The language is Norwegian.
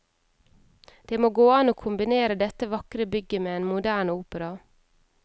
Det må gå an å kombinere dette vakre bygget med en moderne opera.